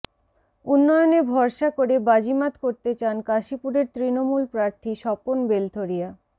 উন্নয়নে ভরসা করে বাজিমাত করতে চান কাশীপুরের তৃণমূল প্রার্থী স্বপন বেলথরিয়া